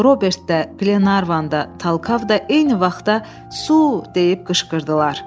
Robert də, Glenarvan da, Talkav da eyni vaxtda 'Su!' deyib qışqırdılar.